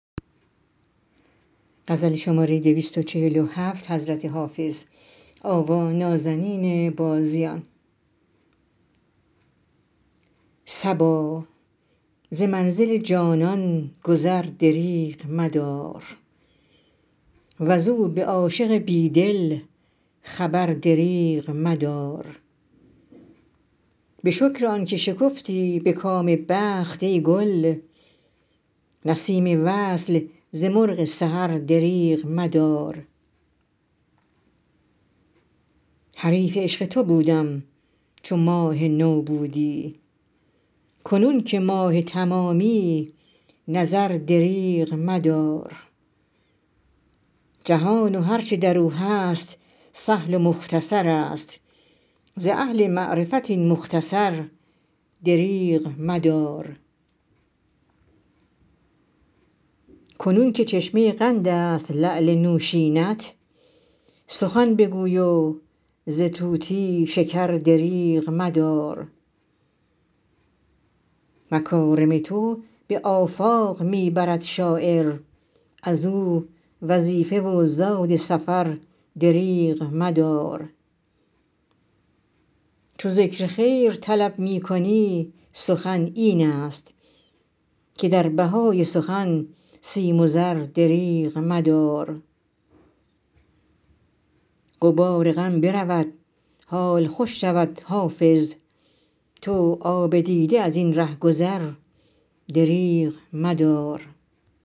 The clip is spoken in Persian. صبا ز منزل جانان گذر دریغ مدار وز او به عاشق بی دل خبر دریغ مدار به شکر آن که شکفتی به کام بخت ای گل نسیم وصل ز مرغ سحر دریغ مدار حریف عشق تو بودم چو ماه نو بودی کنون که ماه تمامی نظر دریغ مدار جهان و هر چه در او هست سهل و مختصر است ز اهل معرفت این مختصر دریغ مدار کنون که چشمه قند است لعل نوشین ات سخن بگوی و ز طوطی شکر دریغ مدار مکارم تو به آفاق می برد شاعر از او وظیفه و زاد سفر دریغ مدار چو ذکر خیر طلب می کنی سخن این است که در بهای سخن سیم و زر دریغ مدار غبار غم برود حال خوش شود حافظ تو آب دیده از این ره گذر دریغ مدار